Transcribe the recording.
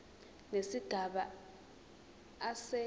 nesigaba a se